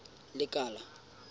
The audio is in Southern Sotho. lekala